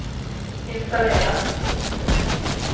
installera